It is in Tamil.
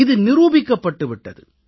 இது நிரூபிக்கப்பட்டு விட்டது